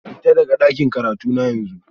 Fita daga dakin karatuna yanzu